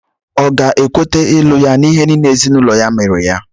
Ọ̀ ga-ekweta ịlụ ya n'ihe niile ezinụlọ ya mere ya?